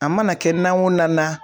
A mana kɛ na o na na.